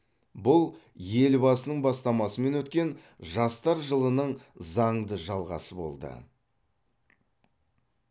бұл елбасының бастамасымен өткен жастар жылының заңды жалғасы болды